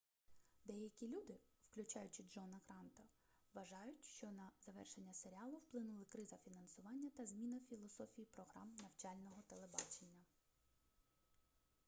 деякі люди включаючи джона гранта вважають що на завершення серіалу вплинули криза фінансування та зміна філософії програм навчального телебачення